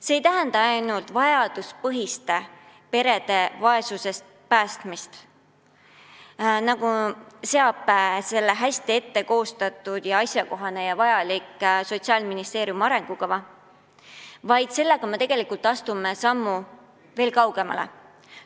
See ei tähenda ainult perede vaesusest päästmist, nagu seab eesmärgiks hästi koostatud ja asjakohane Sotsiaalministeeriumi arengukava, vaid me tegelikult astume sammu veel kaugemale.